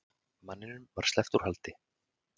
Manninum sleppt úr haldi